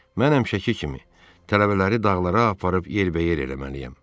Mən həmişəki kimi tələbələri dağlara aparıb yerbəyer eləməliyəm.